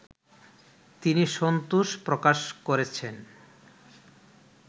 তিনি সন্তোষ প্রকাশ করেছেন